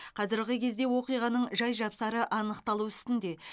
қазіргі кезде оқиғаның жай жапсары анықталу үстінде